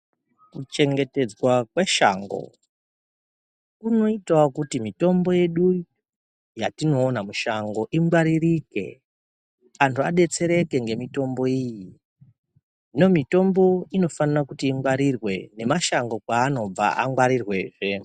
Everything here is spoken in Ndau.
Kuchengetedzwa kweshango kunoitawo kuti mitombo yedu yatinoona mushango ingwaririke antu adetsereke nemitombo iyi. Hino mitombo inofana kuti ingwarirwe nemashango kwaanobva angwarirwe zvee.